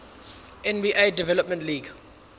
nba development league